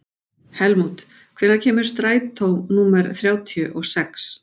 Helmút, hvenær kemur strætó númer þrjátíu og sex?